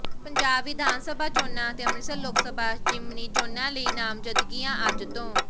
ਪੰਜਾਬ ਵਿਧਾਨ ਸਭਾ ਚੋਣਾਂ ਅਤੇ ਅੰਮ੍ਰਿਤਸਰ ਲੋਕ ਸਭਾ ਜ਼ਿਮਨੀ ਚੋਣਾਂ ਲਈ ਨਾਮਜਦਗੀਆਂ ਅੱਜ ਤੋਂ